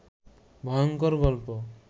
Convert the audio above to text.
ভয়ংকর গল্প